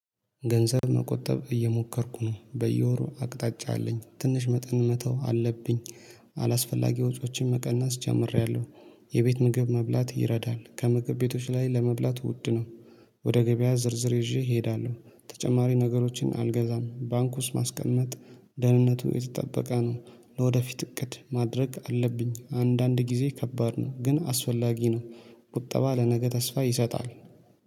ገንዘብ መቆጠብ እየሞከርኩ ነው በየወሩ አቅጣጫ አለኝ ትንሽ መጠን መተው አለብኝ አላስፈላጊ ወጪዎችን መቀናስ ጀምሬያለሁ። የቤት ምግብ መብላት ይረዳል ከምግብ ቤቶች ላይ ለመብላት ውድ ነው። ወደ ገበያ ዝርዝር ይዤ እሄዳለሁ ተጨማሪ ነገሮችን አልገዛም ባንኩስ ማስቀመጥ ደህንነቱ የተጠበቀ ነው። ለወደፊት እቅድ ማድረግ አለብኝ አንዳንድ ጊዜ ከባድ ነው ግን አስወላጊ ነው። ቁጠባ ለነገ ተስፋ ይሰጣል